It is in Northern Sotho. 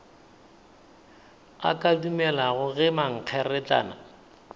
a ka dumelago ge mankgeretlana